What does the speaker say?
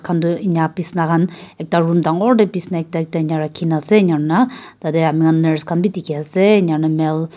edu eneka bisna khan ekta room dangor de bisna ekta ekta eneka rakhi na ase eneka hoi na tade ami khan nurse khan b dikhi ase aro male --